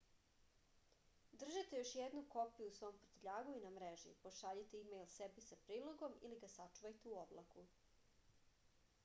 држите још једну копију у свом пртљагу и на мрежи пошаљите имејл себи са прилогом или га сачувајте у облаку